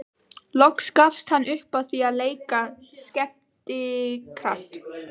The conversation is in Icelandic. Loks gafst hann upp á því að leika skemmtikraft.